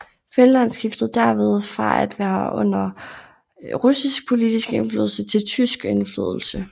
Finland skiftede derved fra at være under russisk politisk indflydelse til tysk indflydelse